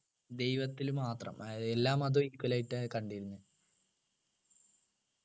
ദൈവത്തിൽ മാത്ര അഹ് എല്ലാ മതവും equal ആയിട്ടാണ് കണ്ടിരുന്നേ